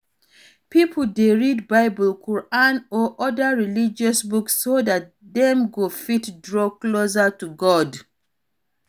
Pipo dey read bible, Quran or oda religious book so dat dem go fit draw closer to God